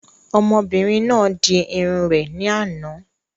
Ọmọbìnrin náà di irun rẹ̀ ní àná